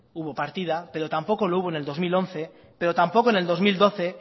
hubo partida pero tampoco lo hubo en el dos mil once pero tampoco en el dos mil doce